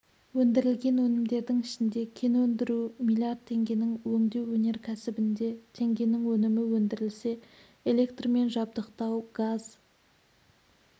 өндірілген өнімдердің ішінде кен өндіру млрд теңгенің өңдеу өнеркәсібінде теңгенің өнімі өндірілсе электрмен жабдықтау газ